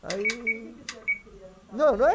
Aí... Por que que o senhor não queria? Não, não é